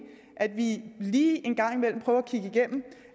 at vi lige en gang imellem prøver at kigge igennem